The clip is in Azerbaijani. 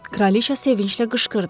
Kraliçə sevinclə qışqırdı.